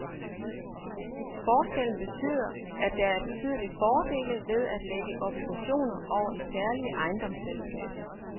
Forskellen betyder, at der er betydelige fordele ved at lægge obligationer over i særlige ejendomsselskaber.